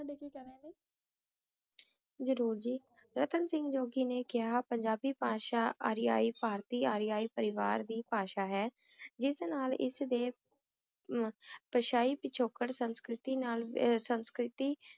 ਹਜ਼ਰਤ ਅਦਨਾਨ ਜੋਗੀ ਨੇ ਕਿਹਾ ਕਿ ਆਰੀਅਨ ਪਾਰਟੀ ਬਾਦਸ਼ਾਹ ਹੈ ਜਿਸ ਰਸਤੇ ਰਾਹੀਂ ਸੰਤ ਪ੍ਰਗਟ